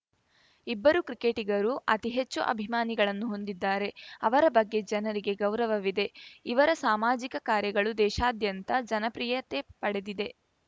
ಇಬ್ಬರು ಕ್ರಿಕೆಟಿಗರು ಅತಿಹೆಚ್ಚು ಅಭಿಮಾನಿಗಳನ್ನು ಹೊಂದಿದ್ದಾರೆ ಅವರ ಬಗ್ಗೆ ಜನರಿಗೆ ಗೌರವವಿದೆ ಇವರ ಸಾಮಾಜಿಕ ಕಾರ್ಯಗಳು ದೇಶಾದ್ಯಂತ ಜನಪ್ರಿಯತೆ ಪಡೆದಿದೆ